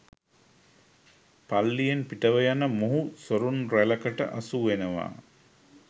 පල්ලියෙන් පිටව යන මොහු සොරුන් රැලකට අසු වෙනවා